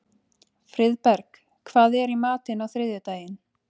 Friðberg, hvað er í matinn á þriðjudaginn?